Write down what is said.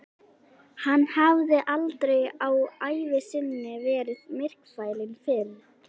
Hann hafði aldrei á ævi sinni verið myrkfælinn fyrr.